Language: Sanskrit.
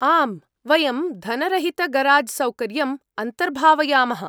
आम्, वयं धनरहितगराज्सौकर्य्यम् अन्तर्भावयामः।